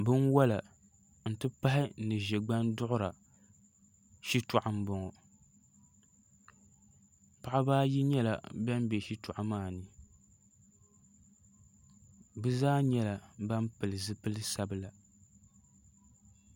Binwola ni ʒɛgban duɣura shitoɣu n boŋo paɣaba ayi nyɛla ban bɛ shitoɣu maa ni bi zaa nyɛla ban pili zipili sabila